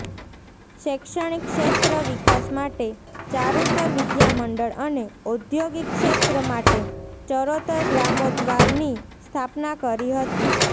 શૈક્ષણિક ક્ષેત્ર વિકાસ માટે ચારુતર વિદ્યામંડળ અને ઔદ્યોગિક ક્ષેત્ર માટે ચરોતર ગ્રામોદ્ધારની સ્થાપના કરી હતી